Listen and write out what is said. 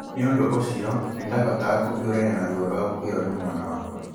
Nĩ ũndũ ũcio, nĩ ndahotaga kũviũrania na ruo rwa gũkuĩrũo nĩ mwana wakwa